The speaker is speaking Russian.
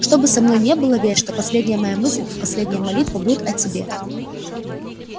что бы со мной ни было верь что последняя моя мысль и последняя молитва будет о тебе